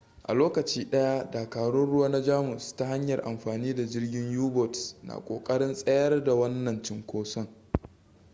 a lokaci daya dakarun ruwa na jamus ta hanyar amfani da jirgin u-boats na kokarin tsayar da wannan cinkoson